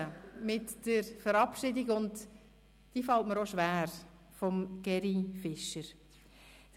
Ich möchte mit der Verabschiedung von Gerhard Fischer beginnen, und dies fällt mir schwer: